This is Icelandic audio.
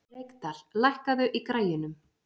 Reykdal, lækkaðu í græjunum.